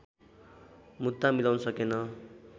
मुद्दा मिलाउन सकेन